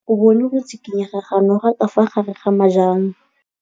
O bone go tshikinya ga noga ka fa gare ga majang.